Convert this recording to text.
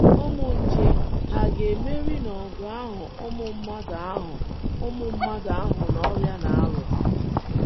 Ụmụ nje hà ga - emeri n’ọgụ ahụ ụmụ mmadụ ahụ ụmụ mmadụ na ọrịa na - alụ?